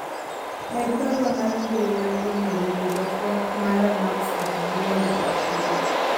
med barua mar mbui mar email be jatwak mara macs at gmail dot kom